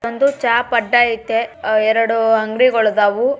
ಒಂದು ಚಾಪ್ ಅಡ್ಡ ಅಹ್ ಐತೆ ಎರಡು ಅಂಗಡಿಗಳು ಆದವು.